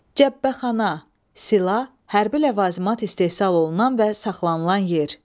Cəbbəxana, silah, hərbi ləvazımat istehsal olunan və saxlanılan yer.